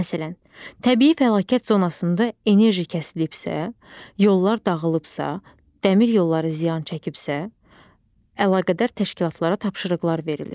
Məsələn, təbii fəlakət zonasında enerji kəsilibsə, yollar dağılıbsa, dəmir yolları ziyan çəkibsə, əlaqədar təşkilatlara tapşırıqlar verilir.